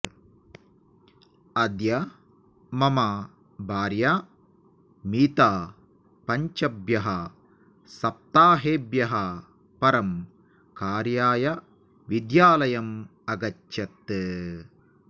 अद्य मम भार्या मीता पञ्चभ्यः सप्ताहेभ्यः परं कार्याय विद्यालयम् अगच्छत्